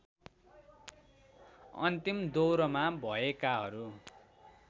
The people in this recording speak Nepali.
अन्तिम दौरमा भएकाहरू